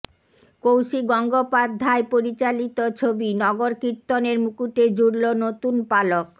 কৌশিক গঙ্গোপাধ্য়ায় পরিচালিত ছবি নগরকীর্তনের মুকুটে জুড়ল নতুন পালক